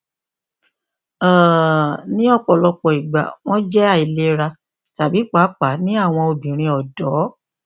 um ni ọpọlọpọ igba wọn jẹ ailera tabi paapaa ni awọn obinrin ọdọ